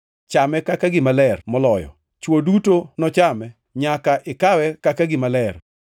Chame kaka gima ler moloyo; chwo duto nochame. Nyaka ikawe kaka gima ler.